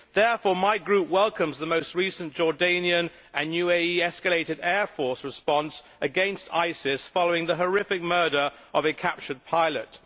Therefore my group welcomes the most recent Jordanian and UAE escalated air force response against ISIS following the horrific murder of a captured pilot.